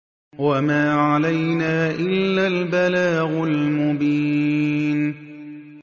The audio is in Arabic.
وَمَا عَلَيْنَا إِلَّا الْبَلَاغُ الْمُبِينُ